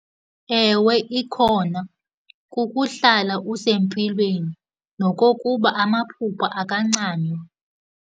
Ewe, ikhona. Kukuhlala usempilweni nokokuba amaphupha akancanywa.